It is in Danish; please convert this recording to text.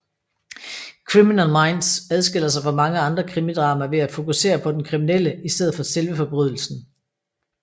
Criminal Minds adskiller sig fra mange andre krimidramaer ved at fokusere på den kriminelle i stedet for selve forbrydelsen